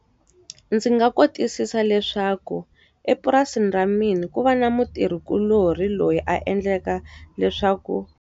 Ndzi nga kotisisa leswaku, epurasini ra mina ku va na mutirhikuloni loyi a endleka leswaku.